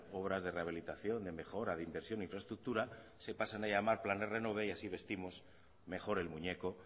obras de rehabilitación de mejora de inversión e infraestructura se pasen a llamar planes renove y así vestimos mejor el muñeco